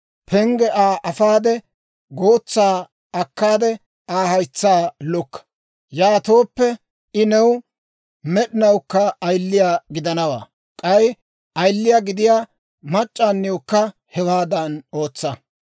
pengge Aa afaade, gootsaa akkaade, Aa haytsaa lukka. Yaatooppe I new med'inawukka ayiliyaa gidanawaa. K'ay ayiliyaa gidiyaa mac'c'aaniwukka hewaadan ootsa.